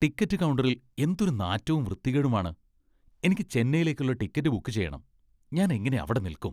Ticket കൗണ്ടറിൽ എന്തൊരു നാറ്റവും വൃത്തികേടുമാണ്. എനിക്ക് ചെന്നൈയിലേക്കുള്ള ടിക്കറ്റ് ബുക്ക് ചെയ്യണം, ഞാൻ എങ്ങനെ അവിടെ നിൽക്കും?